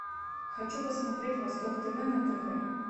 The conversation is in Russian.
хочу посмотреть восток тв на тв